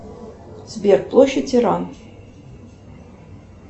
сбер площадь иран